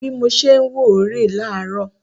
Bi mo ṣe ń wò ó rè é láàárọ̀